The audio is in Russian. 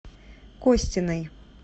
костиной